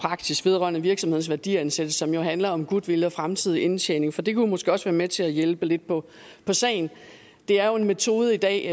vedrørende virksomheders værdiansættelse som jo handler om goodwill og fremtidig indtjening for det kunne måske også være med til at hjælpe lidt på sagen der er jo en metode i dag